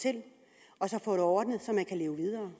og som få det ordnet så man kan leve videre